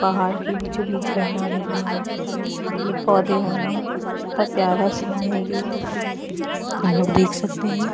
पहाड़ के बीचो बीच झरना गिरना पेड़ पौधे होना कितना प्यारा सीन हैं ये हम लोग देख सकते हैं।